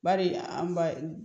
Bari an ba